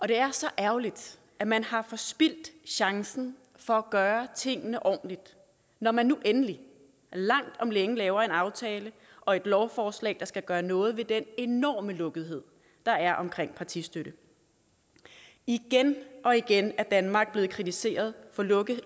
det er så ærgerligt at man har forspildt chancen for at gøre tingene ordentligt når man nu endelig langt om længe laver en aftale og et lovforslag der skal gøre noget ved den enorme lukkethed der er om partistøtte igen og igen er danmark blevet kritiseret for lukkethed